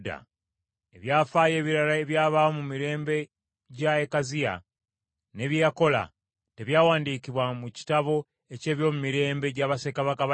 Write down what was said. Ebyafaayo ebirala ebyabaawo mu mirembe gya Akaziya ne bye yakola, tebyawandiikibwa mu kitabo eky’ebyomumirembe gya bassekabaka ba Isirayiri?